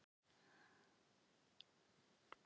Er mikið um það að verið sé að bjóða ykkur erlenda leikmenn?